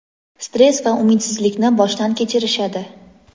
stress va umidsizlikni boshdan kechirishadi.